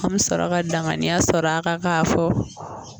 An bɛ sɔrɔ ka danganiya sɔr'a kan k'a fɔ